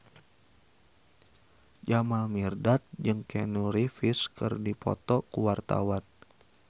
Jamal Mirdad jeung Keanu Reeves keur dipoto ku wartawan